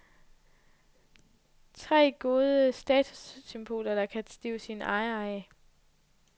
Tre gode statussymboler, der kan stive sine ejere af.